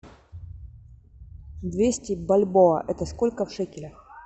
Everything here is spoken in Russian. двести бальбоа это сколько в шекелях